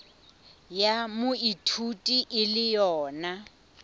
ya moithuti e le yona